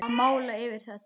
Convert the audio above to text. Að mála yfir þetta.